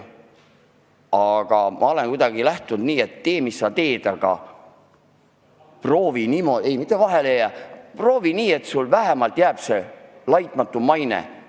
Aga ma olen lähtunud põhimõttest, et tee, mis sa teed, aga proovi elada nii, et sul vähemalt on laitmatu maine.